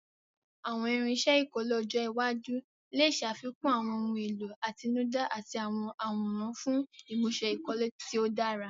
Àwọn irinṣẹ́ ìkọ́lé ọjọ́ iwájú lè ṣàfikún àwọn ohun èlò àtinúdá àti àwọn àwòrán fún ìmúṣe ìkọ́lé tí ó dára.